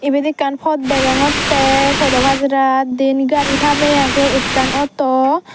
ebet ekkan pot degongtey podho pajarat diyen gari tammey aagey ekkan auto.